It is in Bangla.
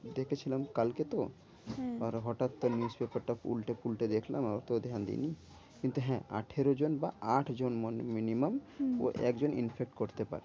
ডেকেছিলাম কালকে তো? হ্যাঁ আর হটাৎ তোর news paper টা উল্টে ফুলতে দেখলাম। অত ধ্যান দিই নি কিন্তু হ্যাঁ? আঠেরো জন বা আটজন minimum হম একজন infect করতে পারে।